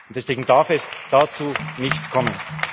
Und deswegen darf es dazu nicht kommen.